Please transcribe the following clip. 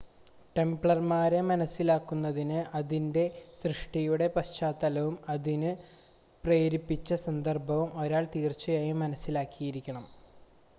ടെംപ്ലർമാരെ മനസ്സിലാക്കുന്നതിന് അതിൻ്റെ സൃഷ്ടിയുടെ പശ്ചാത്തലവും അതിന് പ്രേരിപ്പിച്ച സന്ദർഭവും ഒരാൾ തീർച്ചയായും മനസ്സിലാക്കിയിരിക്കണം